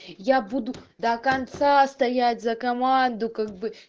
я буду до конца стоять за команду как бы